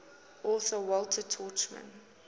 author walter tuchman